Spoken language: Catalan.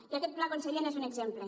i aquest pla conseller n’és un exemple